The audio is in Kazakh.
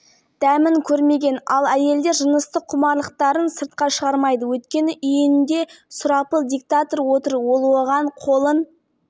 жұбайыңыз бұндай ұсынысқа бастапқыда қалай қарады сіз свингерлікпен қашаннан бері айналыса бастадыңыз қазақ жұптарымен төсектес болдыңыздар